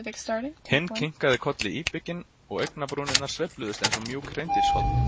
Hinn kinkaði kolli íbygginn og augnabrúnirnar sveifluðust eins og mjúk hreindýrshorn.